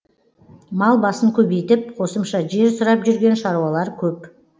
мал басын көбейтіп қосымша жер сұрап жүрген шаруалар көп